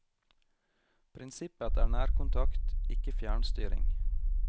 Prinsippet er nærkontakt, ikke fjernstyring.